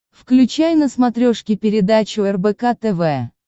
включай на смотрешке передачу рбк тв